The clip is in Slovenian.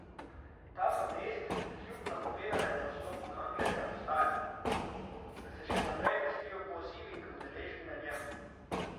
Ta protest kljub napovedanemu odstopu Kanglerja ostaja, saj se še naprej vrstijo pozivi k udeležbi na njem.